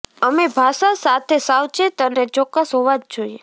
અમે ભાષા સાથે સાવચેત અને ચોક્કસ હોવા જ જોઈએ